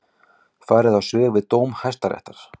Farið á svig við dóm Hæstaréttar